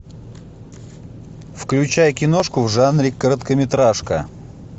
включай киношку в жанре короткометражка